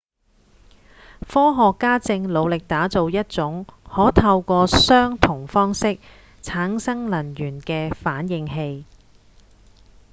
科學家正努力打造一種可透過相同方式產生能源的反應器